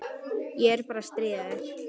Ég er bara að stríða þér.